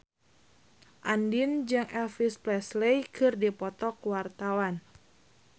Andien jeung Elvis Presley keur dipoto ku wartawan